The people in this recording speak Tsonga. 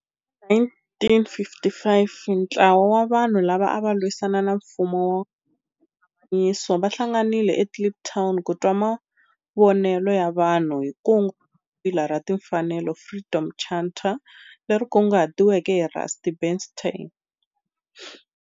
Hi 1955 ntlawa wa vanhu lava ava lwisana na nfumo wa avanyiso va hlanganile eKliptown ku twa mavonelo ya vanhu hi kungu ra Papila ra Tinfanelo, Freedom Charter, leri kunguhatiweke hi Rusty Bernstein.